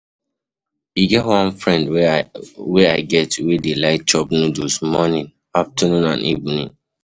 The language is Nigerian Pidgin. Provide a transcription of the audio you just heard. E get one friend I get wey dey like chop noodles morning, afternoon and evening.